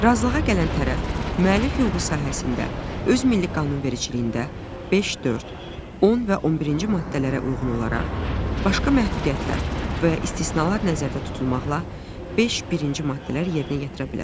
Razılığa gələn tərəf müəllif hüququ sahəsində öz milli qanunvericiliyində 5, 4, 10 və 11-ci maddələrə uyğun olaraq başqa məhdudiyyətlər və ya istisnalar nəzərdə tutulmaqla beş birinci maddələr yerinə yetirə bilər.